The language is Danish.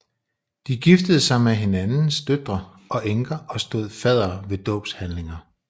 De giftede sig med hinandens døtre og enker og stod faddere ved dåbshandlinger